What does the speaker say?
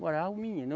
Morava o menino.